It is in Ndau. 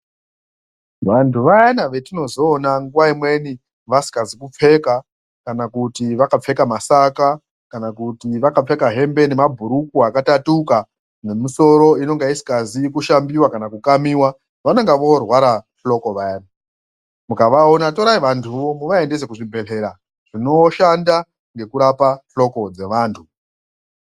Vantu vayani vetinozoona nguwa imweni vasingazi kupfeka kana kuti vakapfeka masaka kana kuti vaķapfeka hembe nemabhurukwa akatatuka nemisoro inonga isingazi kushambiwa kana kukamiwa vanonga vorwara hloko vayani mukavaona torai vantuvo muvaendese kuzvibhehlera zvinoshanda ngekurapa hloko dzevantu.